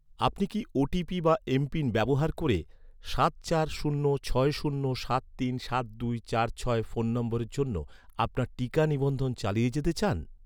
আপনি কি, ওটিপি বা এমপিন ব্যবহার করে, সাত চার শূন্য ছয় শূন্য সাত তিন সাত দুই চার ছয় ফোন নম্বরের জন্য আপনার টিকা নিবন্ধন চালিয়ে যেতে চান?